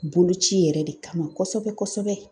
Boloci yɛrɛ de kama kɔsɛbɛ kɔsɛbɛ.